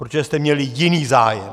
Protože jste měli jiný zájem.